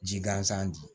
Ji gansan di